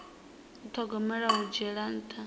u thogomela hu dzhiela nṱha